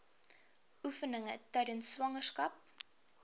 oefeninge tydens swangerskap